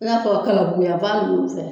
I n'a fɔ Kalabuguyanfan ninnu fɛ.